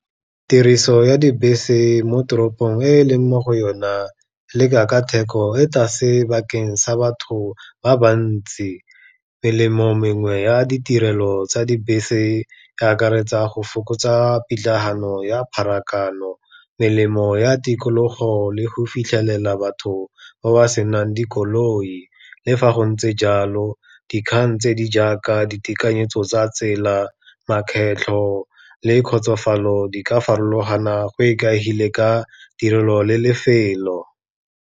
Tiriso ya dibese mo toropong e leng mo go yona, le ka theko e tlase bakeng sa batho ba ba ntsi. Melemo mengwe ya ditirelo tsa dibese e akaretsa go fokotsa pitlagano ya pharakano, melemo ya tikologo le go fitlhelela batho ba ba senang dikoloi, le fa go ntse jalo dikgang tse di jaaka ditekanyetso tsa tsela, makgetlho le kgotsofalo di ka farologana go ikaegile ka tirelo le lefelo.